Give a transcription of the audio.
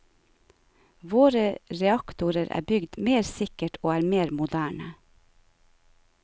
Våre reaktorer er bygd mer sikkert og er mer moderne.